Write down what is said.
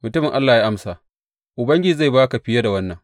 Mutumin Allah ya amsa, Ubangiji zai ba ka fiye da wannan.